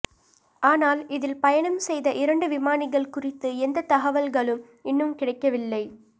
ஆனால் இதில் பயணம் செய்த இரண்டு விமானிகள் குறித்து எந்த தகவல்களும் இன்னும் கிடைக்கவில்லை